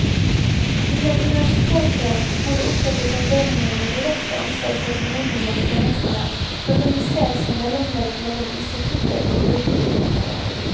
Innen universitetet må det opprettes avdelinger med direkte ansvar for formidling av tjenestene, organisert som mellomledd mellom institutter og brukere utenfor.